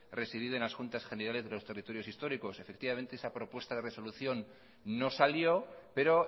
residida en las juntas generales de los territorios históricos efectivamente esa propuesta de resolución no salió pero